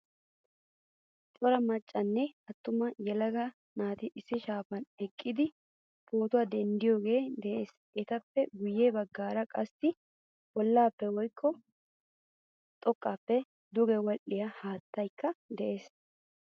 Cora maccanne attuma yelaga naati issi shaafan eqqidi pootuwaa denddidoge de'ees. Etappe guye baggaara qassi bollappe woykko xoqqappe duge wodhdhiyaa haattaykka de'ees.